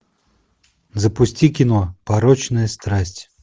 запусти кино порочная страсть